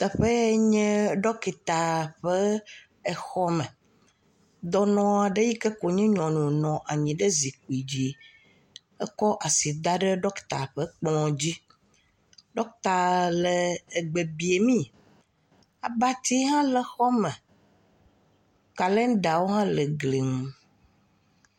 Teƒe ya nye dɔkita ƒe xɔme, dɔnɔ aɖe si nye nyɔnu nɔ anyi ɖe zikpui dzi kɔ asi da ɖe dɔkita ƒe kplɔ dzi. Dɔkita la le gbe biame abatiwo le xɔa me kalendawo hã le gli ŋu.